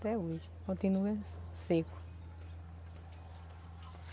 Até hoje, continua seco.